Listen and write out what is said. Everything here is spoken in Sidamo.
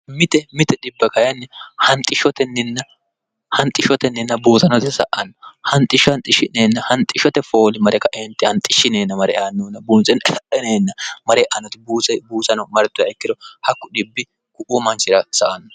mite mite dhibb kinni hanxishshotenninna buusanote sa anno anxishsho hanxishshi'neenna hanxishshote fooli mare kaenti hanxishshineenna mare aannunna buunseno elarheneenna mare'anoti buusano martoha ikkiro hakku dhibbi gu'wo manshira sa anno